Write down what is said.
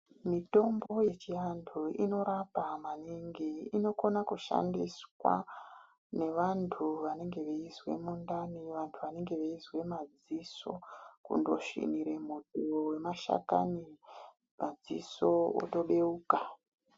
Mitombo yechiantu inorapa maningi inokona kushandiswa nevantu vanenge veizwe mundani. Vantu vanenge veizwe madziso, kundosvinire muto vemashakani padziso otobeuka.